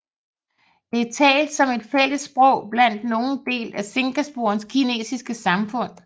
Det er talt som et fælles sprog blandt nogle del af Singapores kinesiske samfund